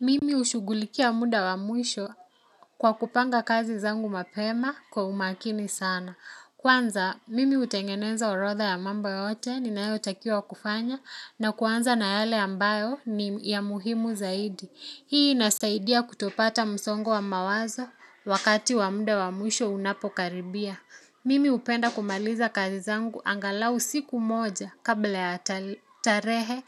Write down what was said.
Mimi hushughulikia muda wa mwisho kwa kupanga kazi zangu mapema kwa umakini sana. Kwanza, mimi hutengeneza orotha ya mambo yote ninayo takiwa kufanya na kuanza na yale ambayo ni ya muhimu zaidi. Hii inasaidia kutopata msongo wa mawazo wakati wa muda wa mwisho unapokaribia. Mimi hupenda kumaliza kazi zangu angalau siku moja kabla ya tarehe